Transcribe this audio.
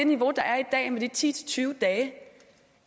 niveau der er i dag med de ti til tyve dage